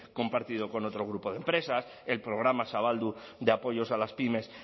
compartido con otro grupo de empresas el programa zabaldu de apoyos a las pymes